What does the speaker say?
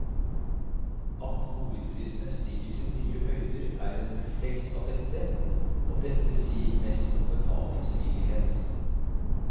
At boligprisene stiger til nye høyder, er en refleks av dette, og dette sier mest om betalingsvillighet.